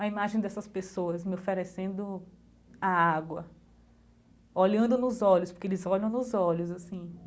a imagem dessas pessoas, me oferecendo a água, olhando nos olhos, porque eles olham nos olhos, assim.